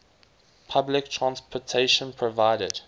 public transportation provided